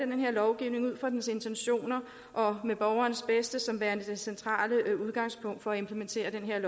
den her lovgivning ud fra dens intentioner og med borgerens bedste som værende det centrale udgangspunkt for implementeringen af